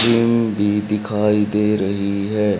भी दिखाई दे रही है।